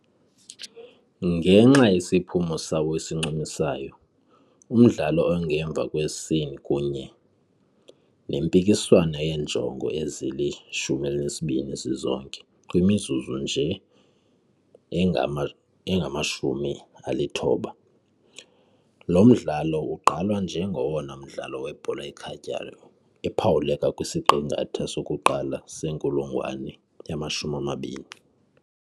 Ngenxa yesiphumo sawo esincumisayo, umdlalo ongemva kwescene, kunye nempikiswano yeenjongo ezili-12 zizonke kwimizuzu nje engama-90, lo mdlalo ugqalwa njengowona mdlalo webhola ekhatywayo ephawuleka kwisiqingatha sokuqala senkulungwane yama-20.